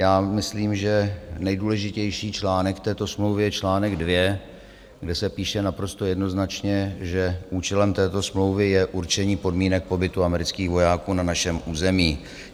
Já myslím, že nejdůležitější článek této smlouvy je článek 2, kde se píše naprosto jednoznačně, že účelem této smlouvy je určení podmínek pobytu amerických vojáků na našem území.